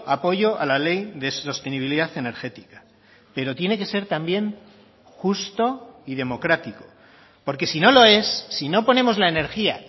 apoyo a la ley de sostenibilidad energética pero tiene que ser también justo y democrático porque si no lo es si no ponemos la energía